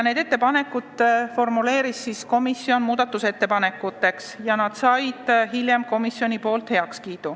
Komisjon formuleeris need muudatusettepanekuteks ja need kiideti hiljem heaks.